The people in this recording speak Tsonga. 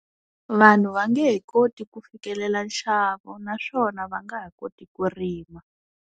Vanhu va nge he koti ku fikelela nxavo naswona va nga ha koti ku rima.